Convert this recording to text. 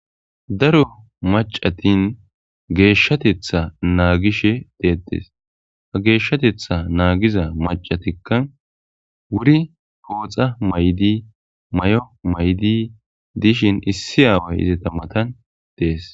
Daro macatin geeshshatetha naagishe deetes ha geeshshatetha naagiza macatikka wuri pooxa maydi may7o maydi dishin issi aaway ize tammatan dees.